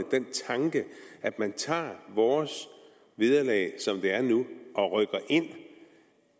at den tanke at man tager vores vederlag som det er nu og rykker ind i